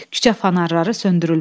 Küçə fanarları söndürülmüşdü.